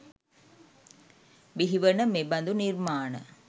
බිහිවන මෙබඳු නිර්මාණ